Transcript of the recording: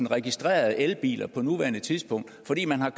registrerede elbiler på nuværende tidspunkt fordi man har